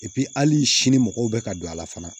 hali sini mɔgɔw bɛ ka don a la fana